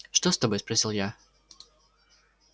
что с тобой спросил я